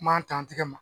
Kuma ta an tɛgɛ ma